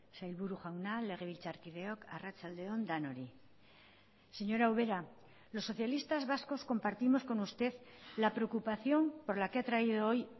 sailburu jauna legebiltzarkideok arratsalde on denoi señora ubera los socialistas vascos compartimos con usted la preocupación por la que ha traído hoy